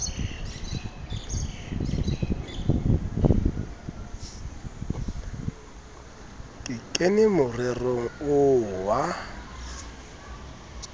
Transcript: ke kene morerong oo wa